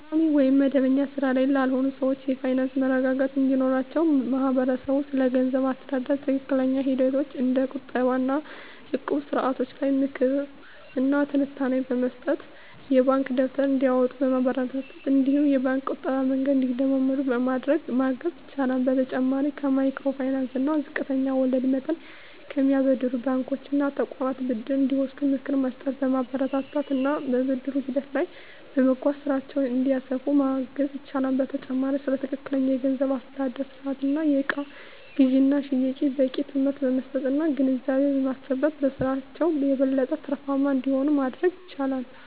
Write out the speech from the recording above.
ቋሚ ወይም መደበኛ ሥራ ላይ ላልሆኑ ሰዎች የፋይናንስ መረጋጋት እንዲኖራቸው ማህበረሰቡ ስለገንዘብ አስተዳደር ትክክለኛ ሂደቶች እንደ ቁጠባ እና እቁብ ስርዓቶች ላይ ምክር እና ትንታኔ በመስጠት፣ የባንክ ደብተር እንዲያወጡ በማበረታታት እነዲሁም የባንክ የቁጠባ መንገድን እንዲለምዱ በማድረግ ማገዝ ይችላል። በተጨማሪም ከማይክሮ ፋይናንስ እና ዝቅተኛ ወለድ መጠን ከሚያበድሩ ባንኮች እና ተቋማት ብድር እንዲወስዱ ምክር በመስጠት፣ በማበረታታት እና ብድር ሂደቱ ላይም በማገዝ ስራቸውን እንዲያስፋፉ ማገዝ ይቻላል። በተጨማሪም ስለ ትክክለኛ የገንዘብ አስተዳደር ስርአት እና የእቃ ግዥና ሽያጭ በቂ ትምህርት በመስጠት እና ግንዛቤ በማስጨበጥ በስራቸው የበለጠ ትርፋማ እንዲሆኑ ማድረግ ይቻላል።